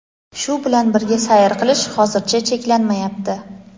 Shu bilan birga sayr qilish hozircha cheklanmayapti.